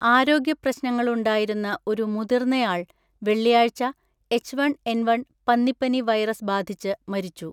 ആരോഗ്യപ്രശ്നങ്ങളുണ്ടായിരുന്ന ഒരു മുതിർന്നയാൾ വെള്ളിയാഴ്ച എച് വൺ എൻ വൺ പന്നിപ്പനി വൈറസ് ബാധിച്ച് മരിച്ചു.